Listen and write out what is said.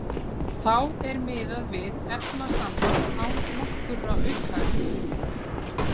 Þá er miðað við efnasamband án nokkurra aukaefna.